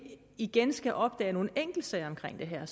igen skal opdage nogle enkeltsager omkring det her